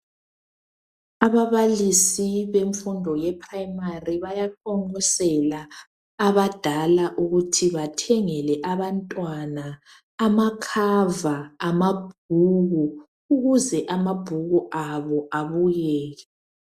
Ababalisi bemfundo ye primary bayaqonqosela abadala ukuthi bathengele abantwana amakhava amabhuku ukuze amabhuku abo abukeke.